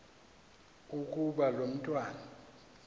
ukuba lo mntwana